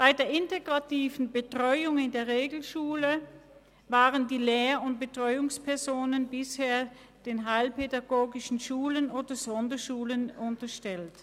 Bei der integrativen Betreuung in der Regelschule waren die Lehr- und Betreuungspersonen bisher den heilpädagogischen Schulen oder Sonderschulen unterstellt.